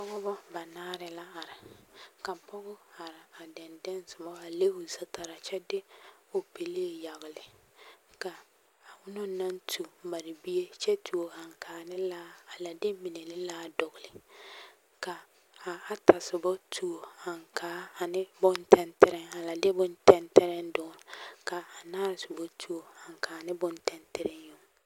Pɔgebɔ banaare la are ka pɔge are a dɛndɛŋ soba a le o zutaraa kyɛ de o pelee yagele ka a onaŋ naŋ tu a mare bie kyɛ tuo aŋkaa ne laa a la de mine ne laa dɔgele ka a ata soba tuo aŋkaa ane bontɛntɛreŋ a la de bontɛntɛreŋ dɔgele ka a anaare soba tuo aŋkaa ne bontɛntɛreŋ yoŋ.